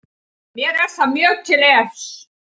Mér er það mjög til efs